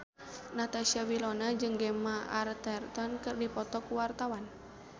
Natasha Wilona jeung Gemma Arterton keur dipoto ku wartawan